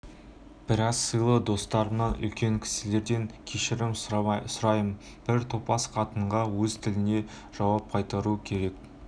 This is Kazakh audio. біраз сыйлы достарымнан үлкен кісілерден кешірім сұраймын бір топас қатынға өз тілінде жауап қайтару керек